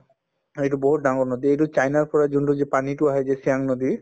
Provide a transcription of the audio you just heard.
অ, এইটো বহুত ডাঙৰ নদী এইটো চাইনাৰ পৰা যোনটো যি পানীতো আহে যে চিয়াং নদী